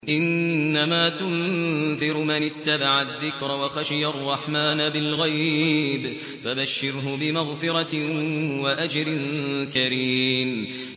إِنَّمَا تُنذِرُ مَنِ اتَّبَعَ الذِّكْرَ وَخَشِيَ الرَّحْمَٰنَ بِالْغَيْبِ ۖ فَبَشِّرْهُ بِمَغْفِرَةٍ وَأَجْرٍ كَرِيمٍ